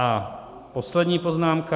A poslední poznámka.